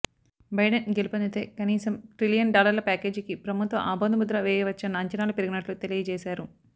Biden గెలుపొందితే కనీసం trillion డాలర్ల ప్యాకేజీకి ప్రభుత్వం ఆమోదముద్ర వేయవచ్చన్న అంచనాలు పెరిగినట్లు తెలియజేశారు